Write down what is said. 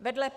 Vedle